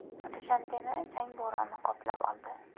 Dushanbeni chang bo‘roni qoplab oldi.